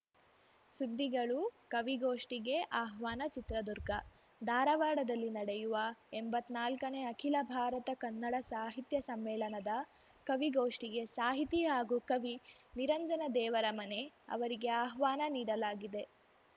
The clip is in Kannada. ಸುದ್ದಿಗಳು ಕವಿಗೋಷ್ಠಿಗೆ ಆಹ್ವಾನ ಚಿತ್ರದುರ್ಗ ಧಾರವಾಡದಲ್ಲಿ ನಡೆಯುವ ಎಂಬತ್ನಾಲ್ಕನೇ ಅಖಿಲ ಭಾರತ ಕನ್ನಡ ಸಾಹಿತ್ಯ ಸಮ್ಮೇಳನದ ಕವಿಗೋಷ್ಠಿಗೆ ಸಾಹಿತಿ ಹಾಗೂ ಕವಿ ನಿರಂಜನ ದೇವರಮನೆ ಅವರಿಗೆ ಆಹ್ವಾನ ನೀಡಲಾಗಿದೆ